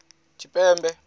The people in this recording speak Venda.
tshipembe